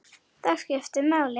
Ég skipti máli.